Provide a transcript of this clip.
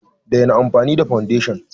Daina amfani da foundation!